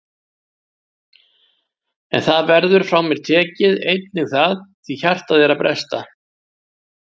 En það verður frá mér tekið, einnig það, því hjartað er að bresta.